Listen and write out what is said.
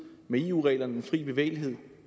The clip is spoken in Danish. med eu reglerne om den frie bevægelighed